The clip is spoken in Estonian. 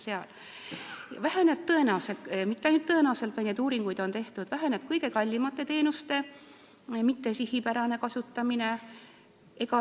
Siis väheneb tõenäoliselt – mitte tõenäoliselt, selle kohta on uuringuid tehtud – kõige kallimate teenuste mittesihipärane kasutamine.